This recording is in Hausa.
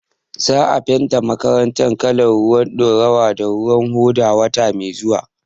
Za a fenta makaranta kalar ruwan ɗaurawa da ruwan hoda wata mai zuwa.